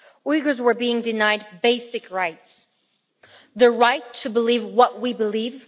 Uyghurs were being denied basic rights the right to believe what we believe